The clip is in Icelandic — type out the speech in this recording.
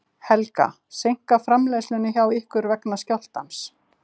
Helga: Seinkar framleiðslu hjá ykkur vegna skjálftans?